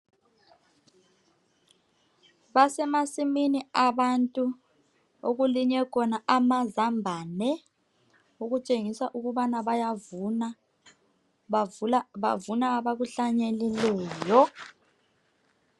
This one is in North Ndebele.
Basemasimini abantu okulinywe khona amazambani okutshengisa ukubana bayavuna bavuna abakuhlanyelileyo